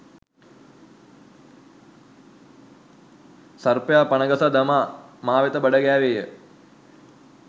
සර්පයා පණ ගසා දමා මා වෙත බඩගෑවේය.